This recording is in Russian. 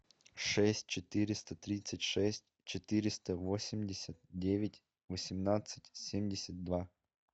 шесть четыреста тридцать шесть четыреста восемьдесят девять восемнадцать семьдесят два